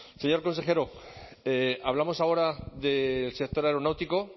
señor consejero hablamos ahora del sector aeronáutico